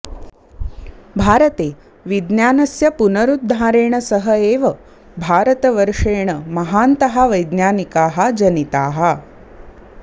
भारते विज्ञानस्य पुनरुद्धारेण सह एव भारतवर्षेण महान्तः वैज्ञानिकाः जनिताः